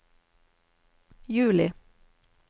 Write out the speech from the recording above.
juli